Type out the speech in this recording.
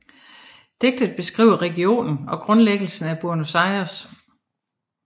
Digtet beskriver regionen og grundlæggelsen af Buenos Aires